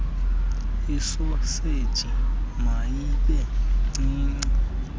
isoseji mayibe ncinci